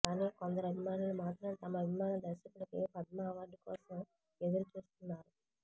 కాని కొందరు అభిమానులు మాత్రం తమ అభిమాన దర్శకుడికి పద్మ అవార్డు కోసం ఎదురు చూస్తున్నారు